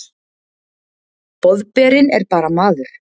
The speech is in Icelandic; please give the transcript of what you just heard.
Boðberinn er bara maður.